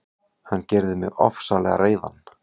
Hann gerði mig ofsalega reiðan.